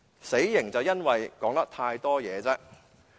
死刑的原因是說話太多。